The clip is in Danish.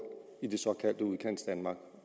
i det såkaldte udkantsdanmark